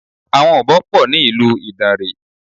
Àwọn Ọ̀bọ pọ̀ ní ìlú Ìdàǹrè.